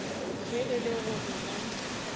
ge e le gore ba